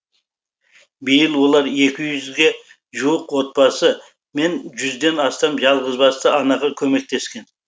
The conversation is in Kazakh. биыл олар екі жүзге жуық отбасы мен жүзден астам жалғызбасты анаға көмектескен